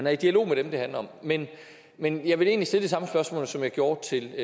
er i dialog med dem det handler om men men jeg vil egentlig stille det samme spørgsmål som jeg gjorde til